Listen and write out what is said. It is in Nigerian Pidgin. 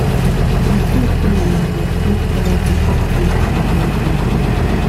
na true sey we must respect other pipo space to avoid gbege